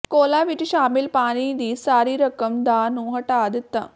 ਕੋਲਾ ਵਿੱਚ ਸ਼ਾਮਿਲ ਪਾਣੀ ਦੀ ਸਾਰੀ ਰਕਮ ਦਾ ਨੂੰ ਹਟਾ ਦਿੱਤਾ